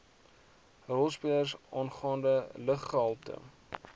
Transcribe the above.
rolspelers aangaande luggehalte